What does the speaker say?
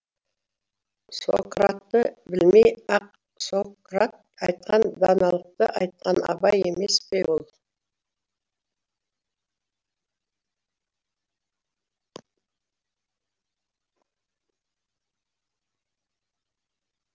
сократты білмей ақ сократ айтқан даналықты айтқан абай емес пе ол